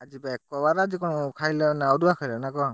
ଆଜିବା ଏକବାର ବା ଆଜିକଣ ଖାଇଲ ନା ଅରୁଆ ଖାଇଲ ନା କଣ?